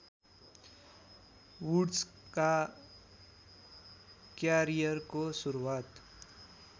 वुड्सका क्यारियरको सुरुवात